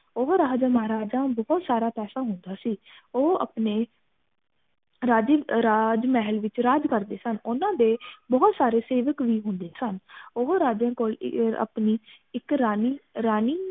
ਉਹ ਰਾਜਾ ਮਹਾਰਾਜਾ ਬਹੁਤ ਸਾਰਾ ਪੈਸਾ ਹੁੰਦਾ ਸੀ ਉਹ ਅਪਣੇ ਰਾਜੀ ਰਾਜ ਮਹਿਲ ਵਿਚ ਰਾਜ ਕਰਦੇ ਸਨ ਓਹਨਾ ਦੇ ਬਹੁਤ ਸਾਰੇ ਸੇਵਕ ਵੀ ਹੁੰਦੇ ਸਨ ਉਹ ਰਾਜੇ ਕੋਲ ਅਪਣੀ ਇਕ ਰਾਣੀ ਰਾਣੀ